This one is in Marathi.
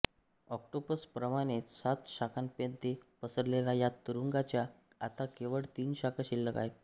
ऑक्टोपस प्रमाणेच सात शाखांमध्ये पसरलेल्या या तुरुंगाच्या आता केवळ तीन शाखा शिल्लक आहेत